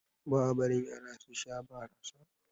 Ba a barin Yara su Sha barasa.